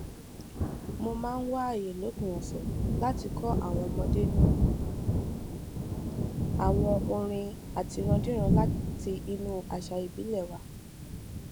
mo máa ń wá àyè lópin ọsẹ láti kó àwọn ọmọdé ní àwọn orin àtirándíran láti inú àṣà ìbílẹ wa